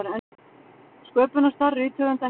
Sköpunarstarf rithöfunda heiðrað